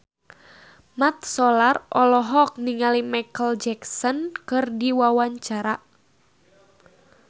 Mat Solar olohok ningali Micheal Jackson keur diwawancara